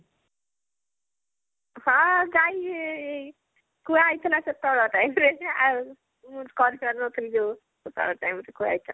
ହଁ ଗାଈ କୁହା ହେଇଥିଲା ସେତେବେଳ time ରେ ଆଉ କରିପାରି ନଥିଲୁ ଯୋଉ ସେତେବେଳ time ରେ କୁହାଯାଇଥିଲା